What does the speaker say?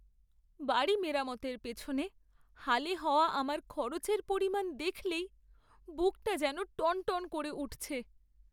বাড়ি মেরামতের পেছনে হালে হওয়া আমার খরচের পরিমাণ দেখলেই বুকটা যেন টনটন করে উঠছে।